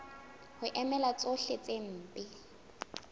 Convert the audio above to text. ho emela tsohle tse mpe